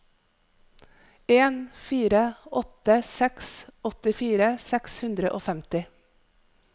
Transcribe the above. en fire åtte seks åttifire seks hundre og femti